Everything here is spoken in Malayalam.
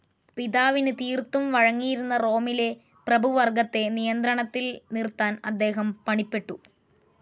പിതാവിനു തീർത്തും വഴങ്ങിയിരുന്ന റോമിലെ പ്രഭുവർഗ്ഗത്തെ നിയന്ത്രണത്തിൽ നിർത്താൻ അദ്ദേഹം പണിപ്പെട്ടു.